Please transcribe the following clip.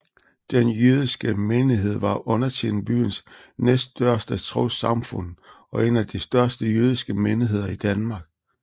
Den jødiske menighed var undertiden byens næststørste trossamfund og en af de største jødiske menigheder i Danmark